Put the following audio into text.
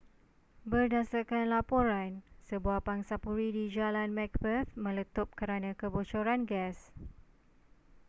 berdasarkan laporan sebuah pangsapuri di jalan macbeth meletup kerana kebocoran gas